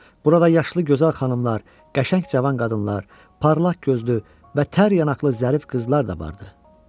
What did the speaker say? Burada yaşlı gözəl xanımlar, qəşəng cavan qadınlar, parlaq gözlü və tər yanaqlı zərif qızlar da vardı.